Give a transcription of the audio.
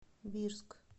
бирск